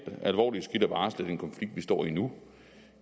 alvorlige skridt at varsle den konflikt vi står i nu